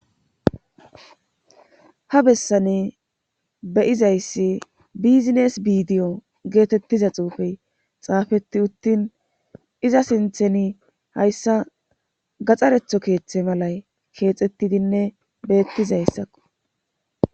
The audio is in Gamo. Ha bessane beyizayssi bizines biidiyo geetettiza xuufey xaafeti uttin iza sintheni hayssa gaxxaretho keeththe malay keexettidinne beettizayssakko.